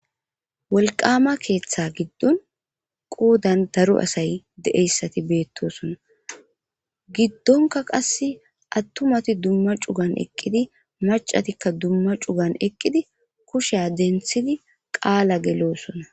wolqama keeththa giddon qoodan daro asay de'iyayssi beettosonna. giddonka qasse attumati dumma cugan eqqidi, macatikka dumma cugan eqqidi, kushiya denthidi qaala geloosona.